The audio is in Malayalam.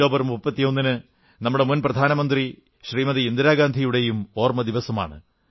ഒക്ടോബർ 31 നമ്മുടെ മുൻ പ്രധാനമന്ത്രി ശ്രീമതി ഇന്ദിരാഗാന്ധിയുടെയും ഓർമ്മദിവസമാണ്